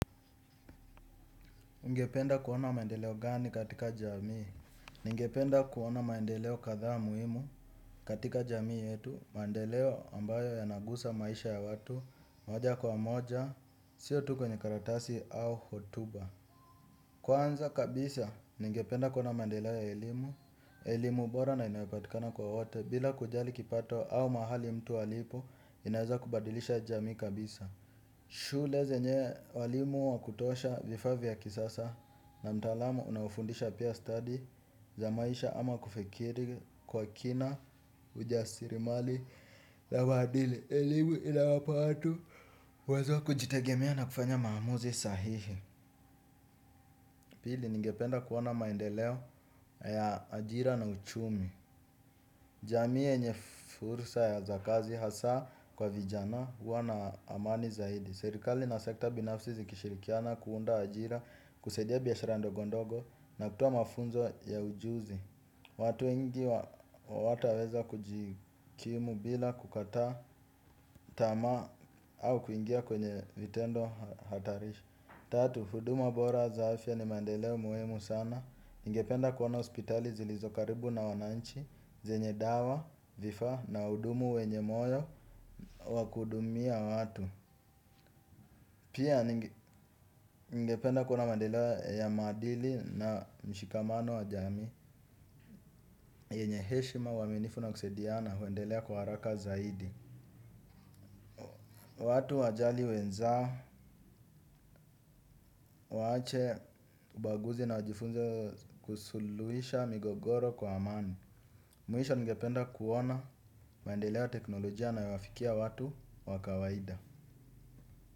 Ningependa kuona maendeleo gani katika jamii? Ningependa kuona maendeleo kadhaa muhimu katika jamii yetu. Mandeleo ambayo yanagusa maisha ya watu. Moja kwa moja, sio tu kwenye karatasi au hotuba. Kwanza kabisa, ningependa kuona maendeleo ya elimu. Elimu bora na inayopatikana kwa wote bila kujali kipato au mahali mtu alipo inaeza kubadilisha jamii kabisa. Shule zenye walimu wa kutosha vifaa vya kisasa na mtaalamu unaofundisha pia stadi za maisha ama kufikiri kwa kina ujasirimali la maadili elimu iinawapa watu uwezo wa kujitegemea na kufanya maamuzi sahihi. Pili ningependa kuona maendeleo ya ajira na uchumi. Jamii yenye fursa za kazi hasa kwa vijana huwa na amani zaidi. Serikali na sekta binafsi zikishirikiana kuunda ajira kusaidia biashara ndogo ndogo na kutoa mafunzo ya ujuzi. Watu wengi hawataweza kujikimu bila kukata tamaa au kuingia kwenye vitendo hatarisha. Tatu, huduma bora za afya ni mandeleo muhimu sana ningependa kuona hospitali zilizo karibu na wananchi zenye dawa, vifaa na hudumu wenye moyo wa kuhudumia watu. Pia, ningependa kuona mandeleo ya maadili na mshikamano wa jamii yenye heshima uaminifu na kusaidiana huendelea kwa haraka zaidi. Watu wajali wenzao, waache, ubaguzi na wajifunze kusuluhisha migogoro kwa amani. Mwisho ningependa kuona maendeleo ya teknolojia yanawafikia watu wa kawaida.